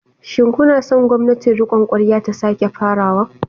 Shin kuna son gwamnatin rikon kwarya ta sake farawa?